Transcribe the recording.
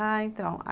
Ah, então.